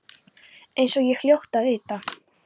Eins og ég hljóti að vita.